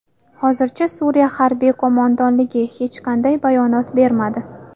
Hozircha Suriya harbiy qo‘mondonligi hech qanday bayonot bermadi.